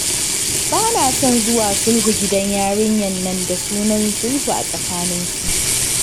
Ba na son zuwa sulhu gidan yarinyar nan da sunan sulhu a tsakaninsu.